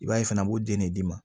I b'a ye fana u b'o den de d'i ma